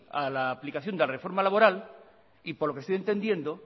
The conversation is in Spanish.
a la aplicación de la reforma laboral y por lo que estoy entendiendo